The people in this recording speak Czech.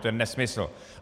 To je nesmysl.